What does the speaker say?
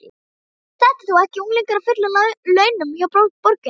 Þetta er þó ekki unglingur á fullum launum hjá borginni?